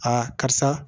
karisa